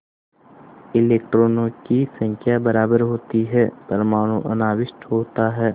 इलेक्ट्रॉनों की संख्या बराबर होती है परमाणु अनाविष्ट होता है